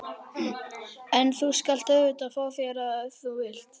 En þú skalt auðvitað fá þér ef þú vilt.